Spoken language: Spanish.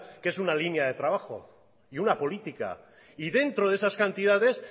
que es una línea de trabajo y una política y dentro de esas cantidades